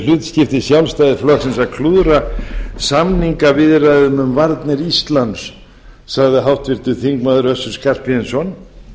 hlutskipti sjálfstæðisflokksins að klúðra samningaviðræðum um varnir íslands sagði háttvirtur þingmaður össur skarphéðinsson